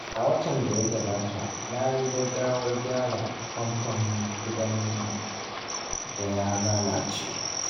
A watan da ya gabata, na yi gaggawar gyara famfon gidanmu da ya lalace.